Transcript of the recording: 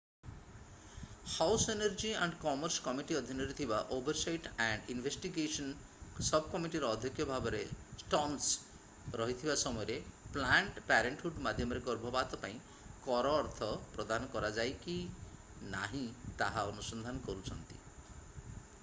house energy and commerce committee ଅଧୀନରେ ଥିବା oversight and investigations ସବକମିଟିର ଅଧ୍ୟକ୍ଷ ଭାବରେ ଷ୍ଟର୍ନସ ରହିଥିବା ସମୟରେ ପ୍ଲାନଡ୍ ପ୍ୟାରେଣ୍ଟହୁଡ୍ ମାଧ୍ୟମରେ ଗର୍ଭପାତ ପାଇଁ କର ଅର୍ଥ ପ୍ରଦାନ କରାଯାଇ କି ନାହିଁ ତାହା ଅନୁସନ୍ଧାନ କରୁଛନ୍ତି